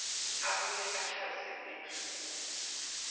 abuye achaze umehluko